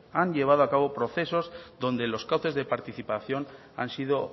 han llevado a cabo procesos donde los cauces de participación han sido